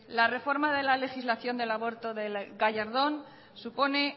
la reforma de la legislación del aborto de gallardón supone